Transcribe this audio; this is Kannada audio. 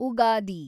ಉಗಾದಿ